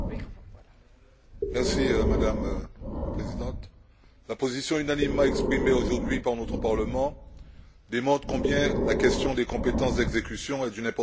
Madame la Présidente, la position unanimement exprimée aujourd'hui par notre Parlement démontre combien la question des compétences d'exécution est d'une importance capitale pour notre Assemblée.